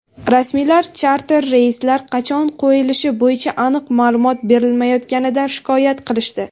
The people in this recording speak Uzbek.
rasmiylar charter reyslar qachon qo‘yilishi bo‘yicha aniq ma’lumot berilmayotganidan shikoyat qilishdi.